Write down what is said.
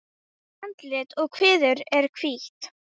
Andlit og kviður er hvítt.